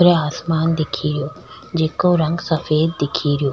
खुलो आसमान दिखरहो जीकाे रंग सफ़ेद दिख रियो --